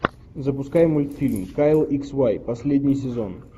запускай мультфильм кайл икс вай последний сезон